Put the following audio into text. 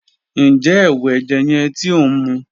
Njẹ ẹwu ẹjẹ yẹn ti o nmu?